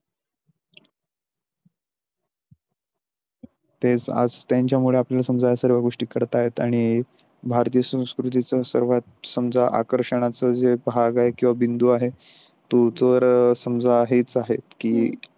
तेच आज त्यांच्यामुळे आपल्या समाजा सर्व गोष्टी करता येतात आणि भारतीय संस्कृतीचा सर्वात समजा आकर्षणाचा जे भाग आहे किंवा बिंदू आहे तू तर समजा हेच आहेत की.